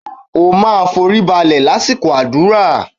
O máa foríbalẹ̀ lásìkò àdúrà.!